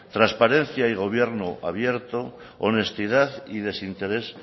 transparencia y gobierno abierto honestidad y desinterés